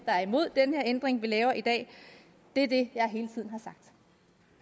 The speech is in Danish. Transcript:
der er imod den her ændring vi laver i dag det er det